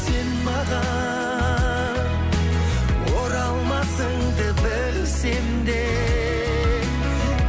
сен маған оралмасыңды білсем де